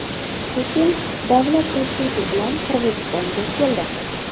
Putin davlat tashrifi bilan Qirg‘izistonga keldi.